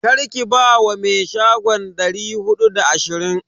Karki ba wa me shagon dari hudu da ashirin.